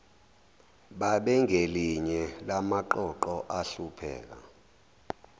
babengelinye lamaqoqo ahlupheka